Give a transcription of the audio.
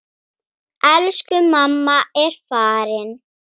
Elsku mamma er farin.